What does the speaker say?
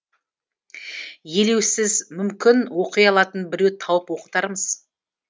елеусіз мүмкін оқи алатын біреу тауып оқытармыз